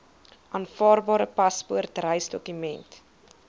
aanvaarbare paspoort reisdokument